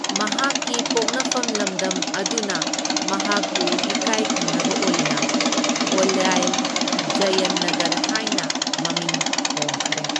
ꯃꯍꯥꯛꯀꯤ ꯄꯣꯛꯅꯐꯝ ꯂꯝꯗꯝ ꯑꯗꯨꯅ ꯃꯍꯥꯛꯄꯨ ꯏꯀꯥꯢꯈꯨꯝꯅꯕ ꯑꯣꯏꯅ ꯑꯣꯂꯥꯏꯜ ꯖꯌꯟ ꯅꯒꯔ ꯍꯥꯢꯅ ꯃꯃꯤꯡ ꯍꯣꯡꯈꯔꯦ꯫